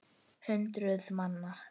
Hundruð manna.